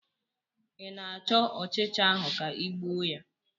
ị na-achọ ọchịcha ahụ ka ị gbuo ya?